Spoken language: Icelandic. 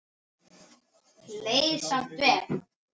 Leið samt vel.